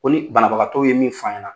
Ko ni banabagatɔw ye min fɔ an ɲɛna